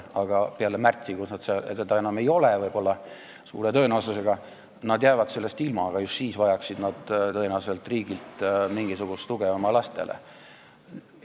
Aga peale märtsikuud nad siin võib-olla enam ei ole, suure tõenäosusega, ja nad jäävad sellest rahast ilma, aga just siis vajaksid nad tõenäoliselt riigilt mingisugust tuge oma lastele.